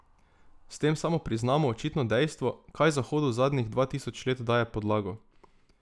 S tem samo priznamo očitno dejstvo, kaj Zahodu zadnjih dva tisoč let daje podlago.